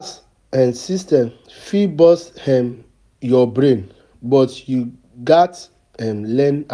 um systems fit burst um yur brain, but you gats um learn